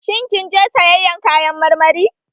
Shin kin je sayayyan kayan marmari?